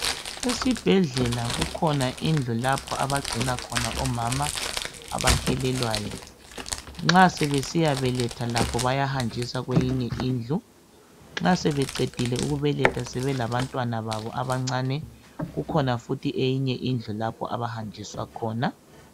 esibhedlela kukhna indlu lapho abacina khna omama abahelelwayo nxasebesiyabeletha lakho bayahanjiswa kweyinye indlu nxa sebeqedile ukubeletha sebelabantwana babo bancane kukhona indlu lapha abahanjiswa khona